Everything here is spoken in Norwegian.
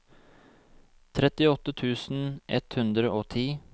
trettiåtte tusen ett hundre og ti